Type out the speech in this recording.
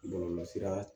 Bɔlɔlɔsira